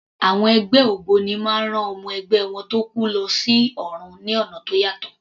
Àwọn ẹgbẹ́ ògbóni máa ń rán ọmọ ẹgbẹ́ wọn tó kú lọ sí ọ̀run ní ọ̀nà tó yàtọ̀.